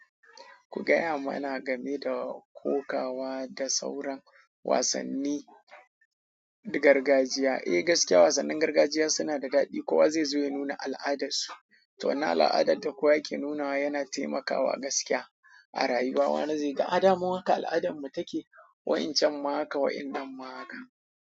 Ku ga ya mana game da kokawa da sauran wasanni na gargajiya. Eh gaskiya wasannin gargajiya suna da daɗi. Kowa zai zo ya nuna al'adarsu, to wani al'adar da kowa yake nunawa yana taimakawa gaskiya a rayuwa. Wani zai ga, a da mu haka al'adarmu take, wa'incan ma haka waɗannan ma haka.